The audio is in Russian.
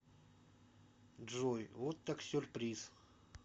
джой вот так сюрприз